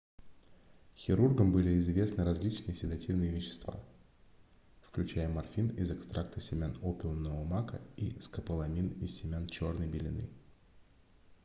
хирургам были известны различные седативные вещества включая морфин из экстракта семян опиумного мака и скополамин из семян чёрной белены